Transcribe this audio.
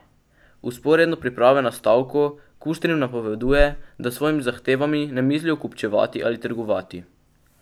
Vzporedno priprave na stavko Kuštrin napoveduje, da s svojimi zahtevami ne mislijo kupčevati ali trgovati.